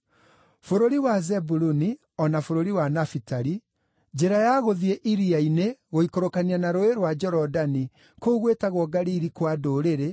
“Bũrũri wa Zebuluni, o na bũrũri wa Nafitali, njĩra ya gũthiĩ iria-inĩ, gũikũrũkania na Rũũĩ rwa Jorodani, kũu gwĩtagwo Galili-kwa-Ndũrĩrĩ: